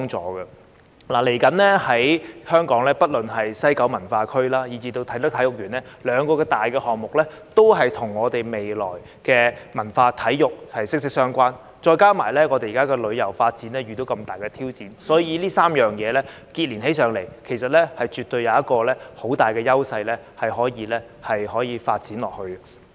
接下來，不論是西九文化區或啟德體育園兩大項目，也與香港未來的文化體育息息相關，再加上現時旅遊發展遇到重大的挑戰，所以這3件事情連結起來，絕對有很大的優勢可以繼續發展。